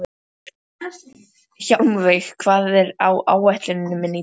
Hjálmveig, hvað er á áætluninni minni í dag?